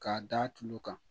K'a d'a tu tulo kan